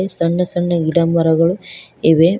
ಸಣ್ಣ ಸಣ್ಣ ಗಿಡ ಮರಗಳು ಇವೆ.